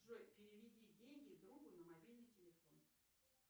джой переведи деньги другу на мобильный телефон